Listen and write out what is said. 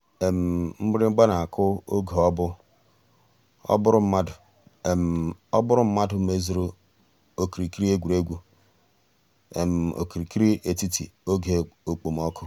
mgbìrị̀gba nà-àkụ̀ ògè ọ̀ bú ọ́ bụ̀rù mmàdụ̀ ọ́ bụ̀rù mmàdụ̀ mèzùrù òkìrìkìrì ègwè́ré́gwụ̀ òkìrìkìrì ètítì ògè òkpòmọ́kụ̀.